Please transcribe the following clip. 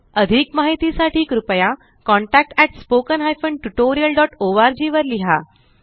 अधिक माहिती साठी कृपया contactspoken tutorialorg वर लिहा